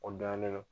O dan ye ne